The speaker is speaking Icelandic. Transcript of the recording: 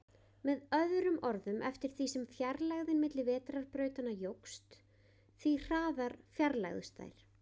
Með öðrum orðum, eftir því sem fjarlægðin milli vetrarbrautanna jókst, því hraðar fjarlægðust þær.